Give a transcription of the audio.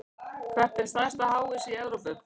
Hvert er stærsta háhýsi í Evrópu?